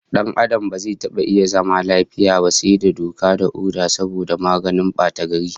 Dan Adam ba zai taba zama lafiya ba sai da doka da oda saboda maganin batagari